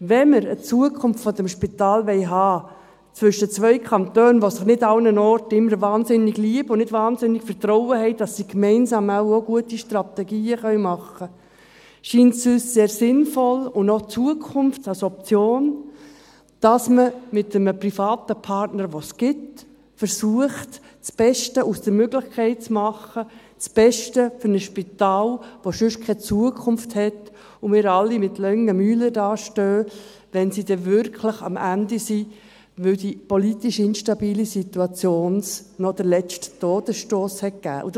Wenn wir eine Zukunft dieses Spitals haben wollen, zwischen zwei Kantonen, die sich nicht immer überall wahnsinnig liebhaben und nicht wahnsinnig viel Vertrauen haben, dass sie gemeinsam gute Strategien machen können, scheint es uns sehr sinnvoll und eine Option für die Zukunft, dass man mit einem privaten Partner, den es gibt, das Beste aus der Möglichkeit zu machen versucht – das Beste für ein Spital, das sonst keine Zukunft hat und bei dem wir sonst alle mit langen Gesichtern dastehen, wenn sie dann wirklich am Ende sind, wenn die politisch instabile Situation ihm noch den letzten Todesstoss gegeben hat.